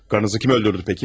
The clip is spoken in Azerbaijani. Qarınızı kim öldürdü bəs?